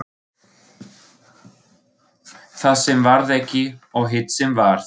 Það sem varð ekki og hitt sem varð